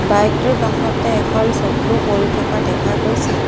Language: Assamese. বাইক টোৰ কাষতে এখন চকীও পৰি থকা দেখা গৈছে।